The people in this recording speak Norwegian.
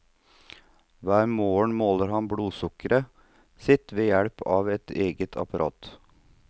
Hver morgen måler han blodsukkeret sitt ved hjelp av et eget apparat.